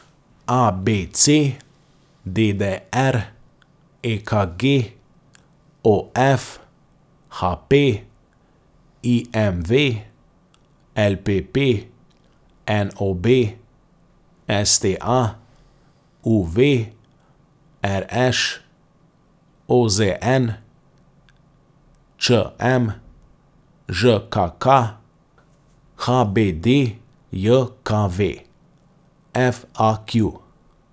A B C; D D R; E K G; O F; H P; I M V; L P P; N O B; S T A; U V; R Š; O Z N; Č M; Ž K K; H B D J K V; F A Q.